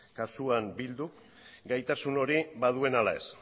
kasuan bilduk gaitasun hori baduen ala ez